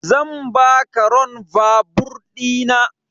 Zan baka ron vaabur ɗina